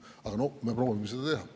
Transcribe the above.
Aga noh, me proovime seda teha.